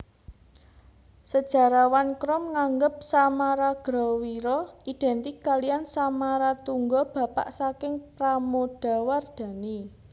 Sejarawan Krom nganggep Samaragrawira identik kaliyan Samaratungga bapak saking Pramodawardhani